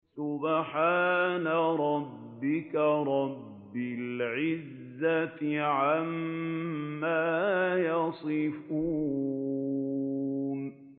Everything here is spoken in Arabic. سُبْحَانَ رَبِّكَ رَبِّ الْعِزَّةِ عَمَّا يَصِفُونَ